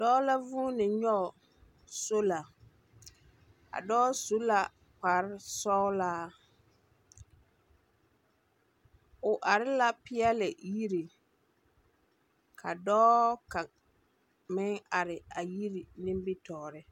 Dͻͻ la vuuni nyͻge sola. A dͻͻ su la kpare sͻgelaa. O are la peԑle yiri, ka dͻͻ kaŋ meŋ are a yiri nimbitͻͻre.